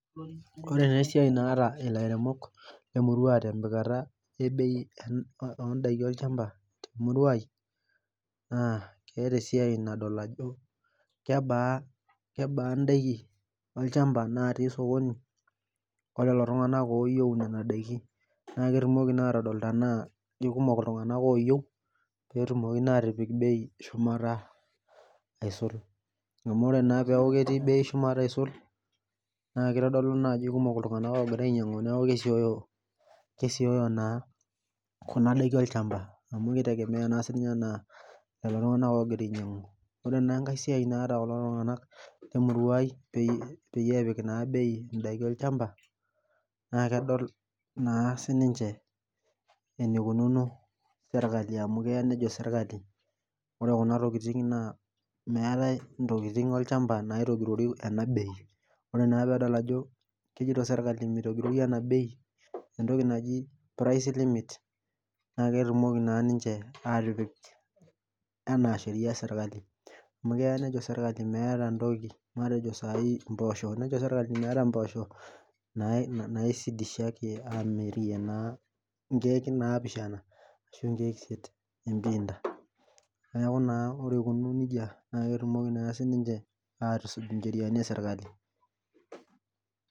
Ore taa esiai naata ilairemok tempikata e bei enh ondaiki olchamba temurua ai naa keeta esiai nadol ajo kebaa kebaa indaiki olchamba natii sokoni olelo tung'anak oyieu inena daiki naa ketumoki naa atodol tanaa kikumok iltung'anak oyieu petumoki naa atipik bei eshumata aisul amu ore naa peeku ketii bei shumata aisul naa kitodolu naa ajo kikumok iltung'anak oogira ainyiang'u niaku ke kesioyo naa kuna daiki olchamba amu kitegemea naa sininye anaa lelo tung'anak ogira ainyiang'u ore naa enkae siai naata kulo tung'anak lemurua ai peyi peyie epik naa bei indaiki olchamba naa kedol naa sininche enikununo sirkali amu keya nejo sirkali ore kuna tokiting naa meetae intokiting olchamba naitogirori ena bei ore naa peedol ajo kejito sirkali mitogirori ena bei entoki naji price limit naa ketumoki naa ninche atipik enaa sheria esirkali amu keya nejo sirkali meeta entoki matejo sai impoosho tenejo sirkali meeta impoosho nai naisidishaki amirie naa inkeek naapishana ashu inkeek isiet empinta neeku naa ore ikununo nejia naa ketumoki naa sininche atusuj incheriani esirkali.